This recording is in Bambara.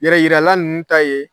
Yɛrɛ yirala ninnu ta ye